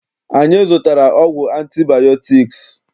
Anyị zụtara ọgwụ antibayọtiks